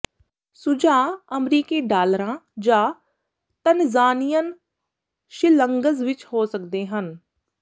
ਸੁਝਾਅ ਅਮਰੀਕੀ ਡਾਲਰਾਂ ਜਾਂ ਤਨਜ਼ਾਨੀਅਨ ਸ਼ਿਲਿੰਗਜ਼ ਵਿੱਚ ਹੋ ਸਕਦੇ ਹਨ